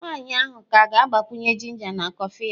Nwanyị ahụ ka ga-agbakwunye ginger na kọfị ya.